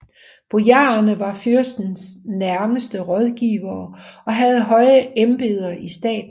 Bojarerne var fyrstens nærmeste rådgivere og havde høje embeder i staten